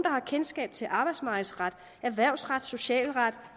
har kendskab til arbejdsmarkedsret erhvervsret socialret